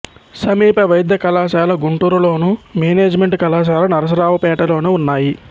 సమీప వైద్య కళాశాల గుంటూరులోను మేనేజిమెంటు కళాశాల నరసరావుపేటలోనూ ఉన్నాయి